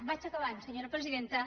vaig acabant senyora presidenta